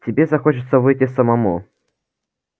тебе захочется выйти самому